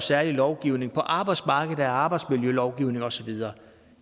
særlig lovgivning på arbejdsmarkedet er der arbejdsmiljølovgivningen og så videre